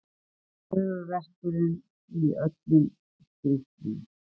Höfuðverkurinn í öllum skrítlum.